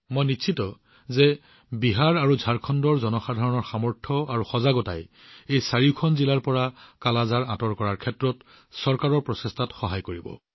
মই নিশ্চিত যে বিহাৰঝাৰখণ্ডৰ জনসাধাৰণৰ শক্তি আৰু সজাগতাই এই চাৰিখন জিলাৰ পৰা কালা আজাৰ আঁতৰ কৰাৰ চৰকাৰৰ প্ৰচেষ্টাত সহায় কৰিব